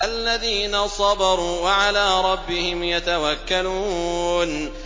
الَّذِينَ صَبَرُوا وَعَلَىٰ رَبِّهِمْ يَتَوَكَّلُونَ